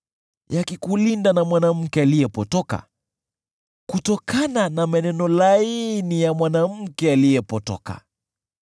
yakikulinda na mwanamke aliyepotoka, kutokana na maneno laini ya mwanamke aliyepotoka.